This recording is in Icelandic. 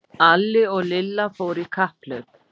Alli og Lilla fóru í kapphlaup.